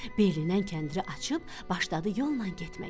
Belindən kəndiri açıb başladı yolla getməyə.